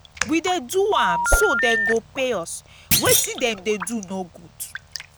we dey do am so dey go pay us wetin dem dey do no good